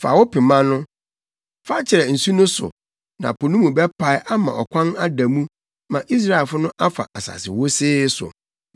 Fa wo pema no. Fa kyerɛ nsu no so na po no mu bɛpae ama ɔkwan ada mu ma Israelfo no afa asase wosee so.